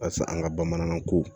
Yasa an ka bamanankan ko